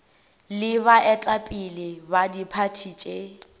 le baetapele ba diphathi tše